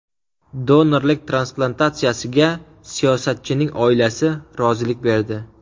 Donorlik transplantatsiyasiga siyosatchining oilasi rozilik berdi.